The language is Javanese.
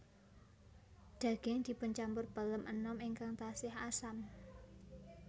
Daging dipuncampur pelem enom ingkang tasih asam